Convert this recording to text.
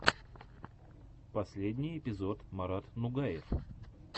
последний эпизод марат нугаев